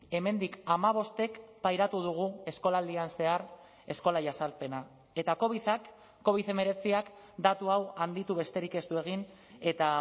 hemendik hamabostek pairatu dugu eskolaldian zehar eskola jazarpena eta covidak covid hemeretziak datu hau handitu besterik ez du egin eta